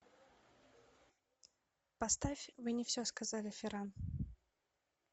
поставь вы не все сказали ферран